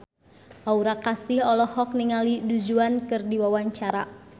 Aura Kasih olohok ningali Du Juan keur diwawancara